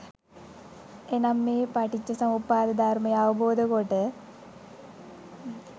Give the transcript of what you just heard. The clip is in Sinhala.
එනම් මේ පටිච්චසමුප්පාද ධර්මය අවබෝධ කොට